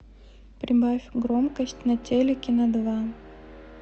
прибавь громкость на телике на два